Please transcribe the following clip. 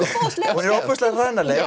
hún er ofboðslega hranaleg